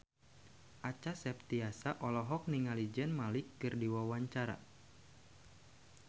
Acha Septriasa olohok ningali Zayn Malik keur diwawancara